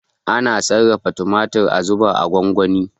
Ana sarrafa tumatir a zuba a gwangwani.